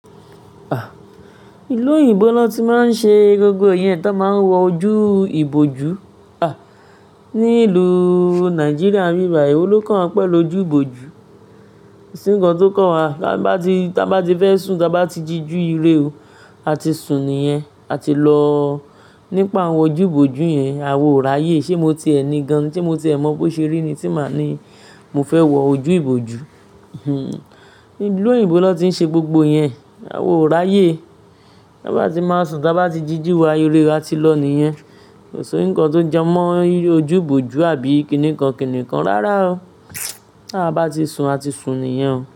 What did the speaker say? À, ìlú òyìnbó ló ti máa ń ṣe gbogbo ìyẹn tó máa ń wọ ojú ìbòjú, à, ní ìlú Nigeria nibi bayìí. Ewo lo kan wa pẹ̀lú ojú ìbòjú, ko sì ń kan tó kàn wá. Táa bá ti, táa bá ti fẹ́ sùn, táa bá ti díjù ire o, a ti sùn nìyẹn, a ti lọ. Nípa àwọn ojú ìbòjú yẹn, àwa oo ráyè. Ṣé mo ti ẹni gan-an tí mo ti ẹ mọ̀ bó ṣe rí ni tí máa ni, mo fẹ́ wọ ojú ìbòjú. Hmm, ìlú òyìnbó ló ti ń ṣe gbogbo yẹn. Àwa oò ráyè. Táa bá ti máa sùn, táa bá ti díjù wa ire, a ti lọ nìyẹn. Kò sí ńǹkan tó jẹ mọ́ ojú ìbòjú àbí kíniǹkan kíniǹkan rárá o. Táa bá ti sùn, a ti sùn nìyẹn o.